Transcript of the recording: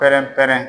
Pɛrɛn pɛrɛn